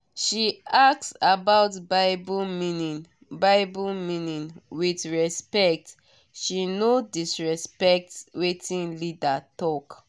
she ask about bible meaning bible meaning with respect she no disrespect wetin leader talk